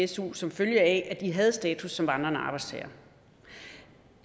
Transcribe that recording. su som følge af at de havde status som vandrende arbejdstagere i